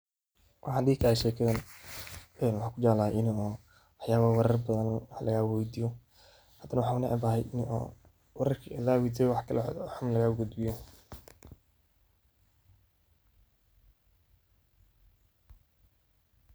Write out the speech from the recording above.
Waxaan dihi karaa waxaan kujeclaade wax yaabo warar badan lagaa weydiyo, hadana waxaan unacbahay in oo wararki lagaa weydiyo wax xun lagaa gudbiyo.